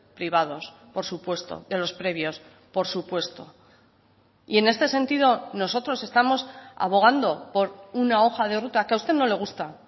privados por supuesto de los previos por supuesto y en este sentido nosotros estamos abogando por una hoja de ruta que a usted no le gusta